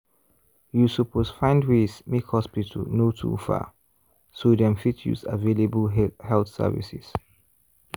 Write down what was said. you suppose find ways make hospital no too far so dem fit use available health services.